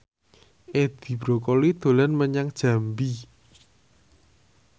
Edi Brokoli dolan menyang Jambi